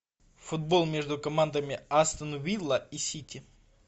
футбол между командами астон вилла и сити